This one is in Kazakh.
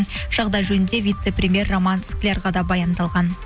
жағдай жөнінде вице премьер роман склярға да баяндалған